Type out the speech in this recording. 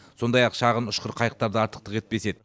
сондай ақ шағын ұшқыр қайықтар да артықтық етпес еді